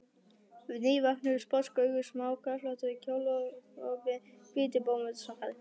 Nývöknuð sposk augu, smáköflóttur kjólgopi og hvítir bómullarsokkar.